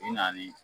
I nali